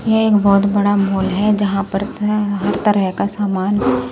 यह एक बहुत बड़ा मॉल है जहां पर तरह हर तरह का सामान --